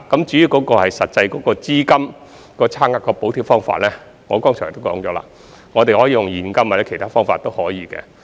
至於"資金差額"的補貼方法，正如我剛才所說，我們可以用現金或其他方法。